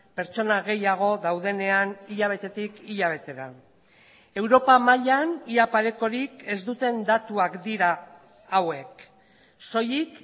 pertsona gehiago daudenean hilabetetik hilabetera europa mailan ia parekorik ez duten datuak dira hauek soilik